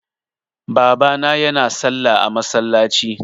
Baba yana salla a masallaci.